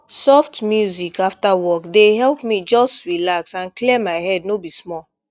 soft music after work dey help me just relax and clear my head no be small